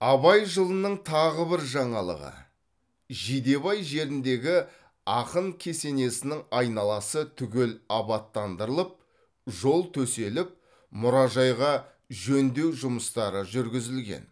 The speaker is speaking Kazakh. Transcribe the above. абай жылының тағы бір жаңалығы жидебай жеріндегі ақын кесенесінің айналасы түгел абаттандырылып жол төселіп мұражайға жөндеу жұмыстары жүргізілген